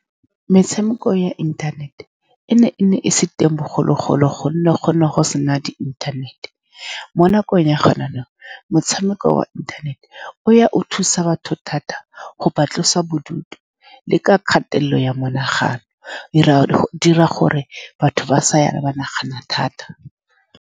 Metshameko ya inthanete e ne, e ne e se teng bogologolo, ka gonne gone go se na di-inthanete mo nakong ya go mananeo. Motshameko wa inthanete o ya, o thusa batho thata go ba, tlosa bodutu le kgatelelo ya monagano. E raya gore, di dira gore batho ba sa ya ba nagana thata.